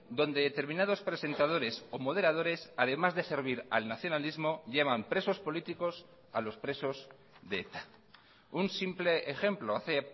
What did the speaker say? donde determinados presentadores o moderadores además de servir al nacionalismo llaman presos políticos a los presos de eta un simple ejemplo hace